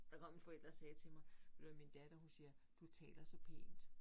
Der kom en forælder og sagde til mig ved du hvad min datter hun siger du taler så pænt